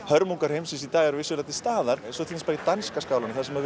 hörmungar heimsins í dag eru vissulega til staðar eins og í danska skálanum þar sem